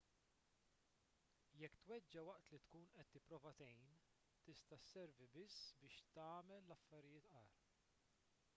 jekk tweġġa' waqt li tkun qed tipprova tgħin tista' sservi biss biex tagħmel l-affarijiet agħar